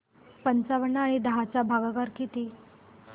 पंचावन्न आणि दहा चा भागाकार किती